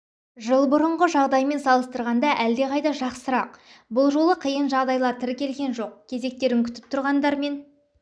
жыл бұрынғы жағдаймен салыстырғанда әлдеқайда жақсырақ бұл жолы қиын жағдайлар тіркелген жоқ кезектерін күтіп тұрғандармен